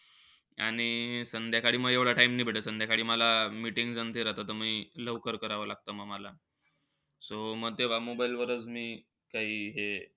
आणि संध्याकाळी म एव्हडा time नी भेटत. संध्याकाळी मला meetings आणि ते राहतं. त म लवकर करावं लागत म मला. So म तेव्हा mobile वरच मी काई हे.